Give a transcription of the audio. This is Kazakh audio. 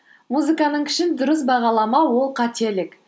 музыканың күшін дұрыс бағаламау ол қателік